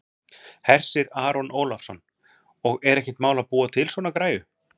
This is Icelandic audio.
Hersir Aron Ólafsson: Og er ekkert mál að búa til svona græju?